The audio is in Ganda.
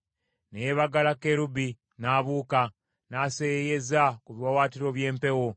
Ne yeebagala kerubi n’abuuka, n’aseeyeeyeza ku biwaawaatiro by’empewo.